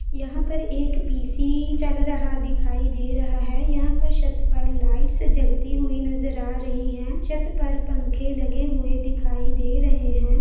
यहाँ पर एक पीसी चल रहा दिखाई दे रहा है। यहाँ पर शत पर लाइट से जगती हुई नज़र आ रही हैं। शत पर पंखे लगे हुए दिखाई दे रहे हैं।